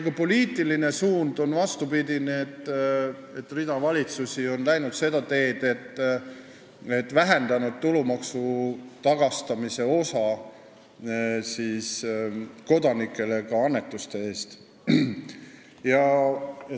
Ka poliitiline suund on vastupidine: rida valitsusi on läinud seda teed, et vähendanud ka annetuste puhul tulumaksu tagastamise osa kodanikele.